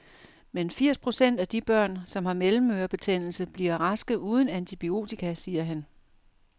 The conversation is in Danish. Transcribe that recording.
Men firs procent af de børn, som har mellemørebetændelse, bliver raske uden antibiotika, siger han.